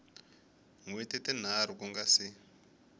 hweti tinharhu ku nga si